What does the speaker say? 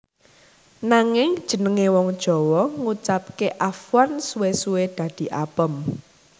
Nanging jenengé wong Jawa ngucapké afwan suwé suwé dadi apem